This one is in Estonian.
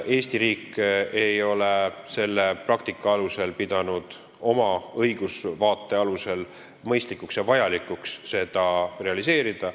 Eesti riik ei ole selle praktika alusel pidanud oma õigusvaate alusel mõistlikuks ega vajalikuks seda realiseerida.